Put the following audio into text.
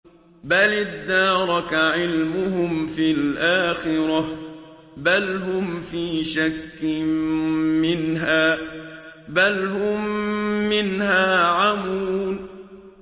بَلِ ادَّارَكَ عِلْمُهُمْ فِي الْآخِرَةِ ۚ بَلْ هُمْ فِي شَكٍّ مِّنْهَا ۖ بَلْ هُم مِّنْهَا عَمُونَ